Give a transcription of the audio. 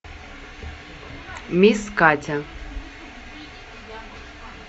мисс катя